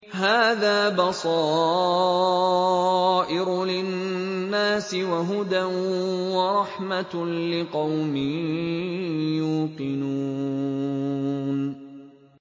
هَٰذَا بَصَائِرُ لِلنَّاسِ وَهُدًى وَرَحْمَةٌ لِّقَوْمٍ يُوقِنُونَ